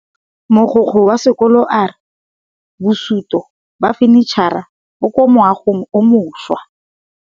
Mogokgo wa sekolo a re bosutô ba fanitšhara bo kwa moagong o mošwa.